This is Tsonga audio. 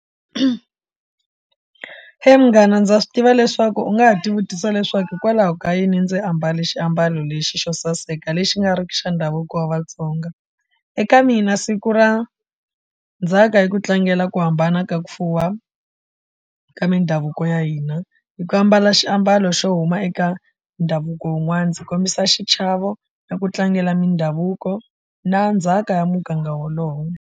munghana ndza swi tiva leswaku u nga ha dyi vutisa leswaku hikwalaho ka yini ndzi ambale xiambalo lexi xo saseka lexi nga riki xa ndhavuko wa Vatsonga eka mina siku ra ndzhaka ku tlangela ku hambana ka ku fuwa ka mindhavuko ya hina hi ku ambala xiambalo xo huma eka ndhavuko wun'wana ndzi kombisa xichavo ni ku tlangela mindhavuko na ndzhaka ya muganga wolowo.